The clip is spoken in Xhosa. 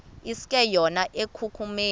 iske yona ekumkeni